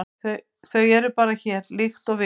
Þau eru bara hér, líkt og við.